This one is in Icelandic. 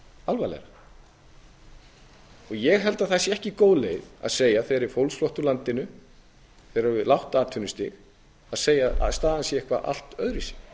alvarlega og ég held að það sé ekki góð leið að segja að þegar er fólksflótti úr landinu þegar er lágt atvinnustig að segja að staðan sé eitthvað allt öðruvísi og